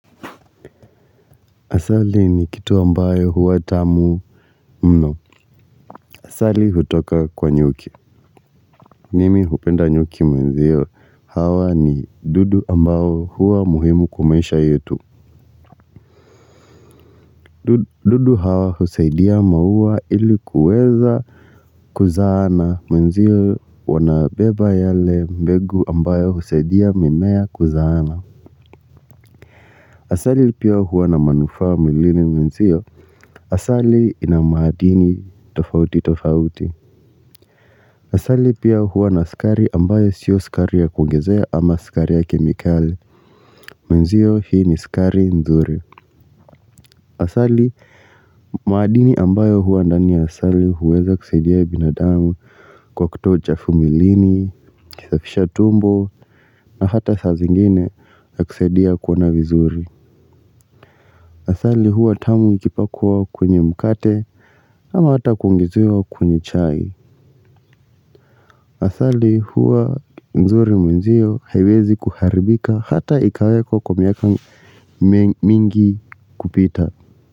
Asali ni kitu ambayo huwa tamu mno. Asali hutoka kwa nyuki. Nimi hupenda nyuki mwenzio hawa ni dudu ambao huwa muhimu kwa maisha yetu. Dudu hawa husaidia maua ili kuweza kuzaana mwenzio wanabeba yale mbegu ambayo husaidia mimea kuzaana. Asali pia huwa na manufaa mwilini mwenzio. Asali ina madini tofauti tofauti. Asali pia huwa na sukari ambayo sio sukari ya kuongezea ama sukari yake ni kali. Mwenzio hii ni sukari nzuri. Asali madini ambayo huwa ndani ya asali huweza kusaidia binadamu kwa kutoa uchafu mwilini, kusafisha tumbo na hata saa zingine yakusaidia kuona vizuri. Asali huwa tamu ikipakwa kwenye mkate au hata kuongezewa kwenye chai. Asali huwa nzuri mwenzio haiwezi kuharibika hata ikawekwa kwa miaka mingi kupita.